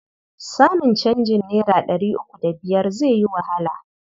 Samun canjin naira ɗari uku da biyar zai yi wahala.